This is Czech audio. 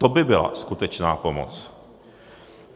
To by byla skutečná pomoc.